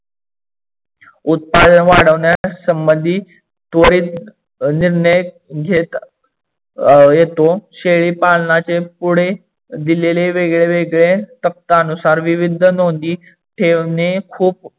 उत्पादन वाढवण्यासंबंधी त्वरित निर्णय घेत अं येतो. शेळीपालणाचे पुढे दिलेले वेगडेवेगडे तक्यातनुसार विविध नोंदी ठेवणे खूप